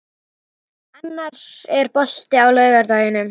Annar, er bolti á laugardaginn?